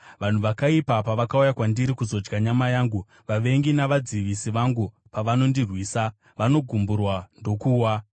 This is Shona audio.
Vanhu vakaipa pavakauya kwandiri kuzodya nyama yangu, vavengi navadzivisi vangu pavanondirwisa, vanogumburwa ndokuwa.